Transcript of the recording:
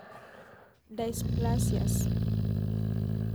Dysplasias.